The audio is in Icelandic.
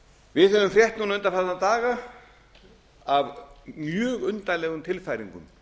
við höfum frétt núna undanfarna daga af mjög undarlegum tilfæringum